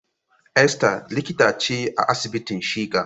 Esther likita ce a asibitin shika.